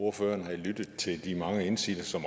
ordføreren havde lyttet til de mange indsigelser som